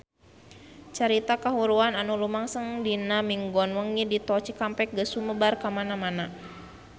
Carita kahuruan anu lumangsung dinten Minggon wengi di Tol Cikampek geus sumebar kamana-mana